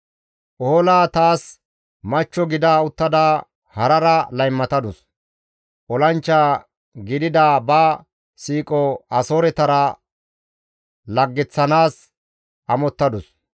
«Ohola taas machcho gida uttada harara laymatadus; olanchcha gidida ba siiqo Asooretara laggeththanaas amottadus.